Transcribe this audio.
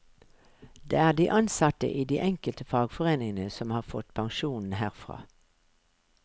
Det er de ansatte i de enkelte fagforeningene som har fått pensjonen herfra.